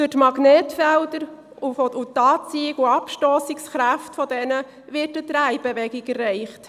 Durch die Magnetfelder und die Anziehungs- und die Abstossungskräfte derselben wird eine Drehbewegung erreicht.